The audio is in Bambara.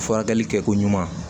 Furakɛli kɛko ɲuman